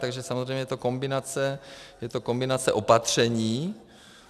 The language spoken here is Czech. Takže samozřejmě je to kombinace opatření.